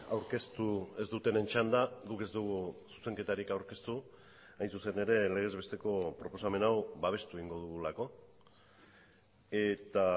aurkeztu ez dutenen txanda guk ez dugu zuzenketarik aurkeztu hain zuzen ere legez besteko proposamen hau babestu egingo dugulako eta